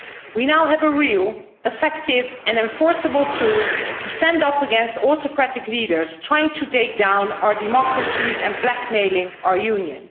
We now have a real, effective and enforceable tool to stand up against autocratic leaders trying to take down our democracies and blackmailing our Union.